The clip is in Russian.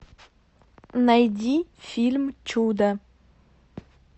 найди фильм чудо